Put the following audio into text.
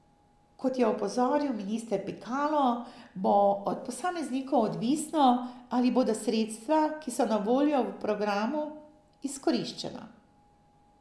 Kot je opozoril minister Pikalo, bo od posameznikov odvisno, ali bodo sredstva, ki so na voljo v programu, izkoriščena.